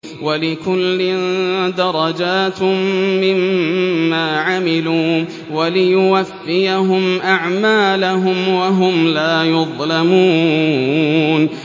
وَلِكُلٍّ دَرَجَاتٌ مِّمَّا عَمِلُوا ۖ وَلِيُوَفِّيَهُمْ أَعْمَالَهُمْ وَهُمْ لَا يُظْلَمُونَ